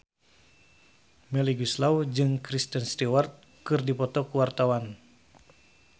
Melly Goeslaw jeung Kristen Stewart keur dipoto ku wartawan